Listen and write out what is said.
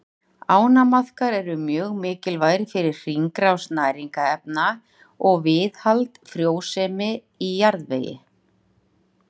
Ánamaðkar eru mjög mikilvægir fyrir hringrás næringarefna og viðhald frjósemi í jarðvegi.